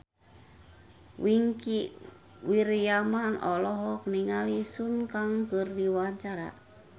Wingky Wiryawan olohok ningali Sun Kang keur diwawancara